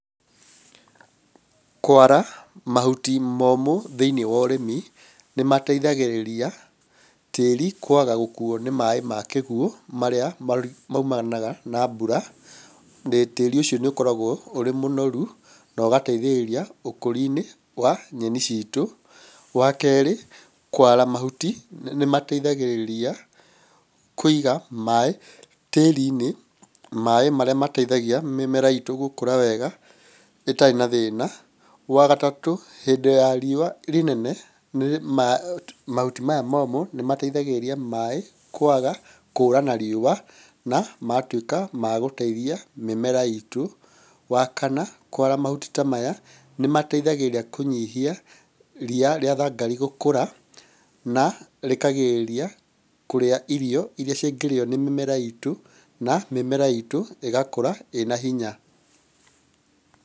Kwara, mahuti momũ thĩiniĩ wa ũrĩmi, nĩ mateithagĩrĩria, tĩri kwaga gũkuwo nĩ maĩ ma kĩguo, marĩa maimanaga na mbura, tĩrĩ ũcio nĩ ũkoragwo ũrĩ mũnoru, na ũgateithĩrĩria ũkũria wa nyeni ciitũ, wakerĩ, kwara mahuti, na mateithagĩrĩria kwara maĩ tĩri-inĩ. Maĩ marĩa mateithagĩrĩrĩia mĩmera iitũ gũkũra wega, ĩtarĩ na thĩna. Wagatatũ, hĩndĩ ya rĩũa rĩnne, mahui maya momũ, nĩ mateithagĩrĩrĩia maĩ, kwaga kũra na rĩua, na magatuĩka ma gũteithia mĩmera itũ. Wa kana kwara mahuti ta maya, nĩ mateithagĩrĩria kũnyihia ria rĩa thangari gũkũra, na rĩkagĩrĩrĩria kũrĩa irio irĩa cingĩrĩywonĩ mĩmera ĩtũ, na mĩmera ĩtu ĩgakũra ĩna hinya.